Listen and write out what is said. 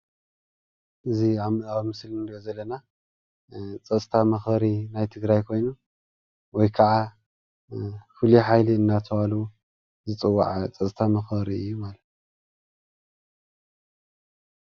እዚ ኣብ ምስሊ እንሪኦ ዘለና ፀጥታ መክበሪ ናይ ትግራይ ኮይኑ፣ ወይ ክዓ ፍሉይ ሓይሊ እናተባሃሉ ዝፅዋዕ ፀጥታ መክበሪ እዩ፡፡